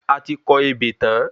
Ati kọ ebè tán